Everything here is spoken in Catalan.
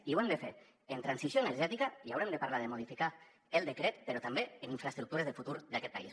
i ho hem de fer amb transició energètica i haurem de parlar de modificar el decret però també amb infraestructures de futur d’aquest país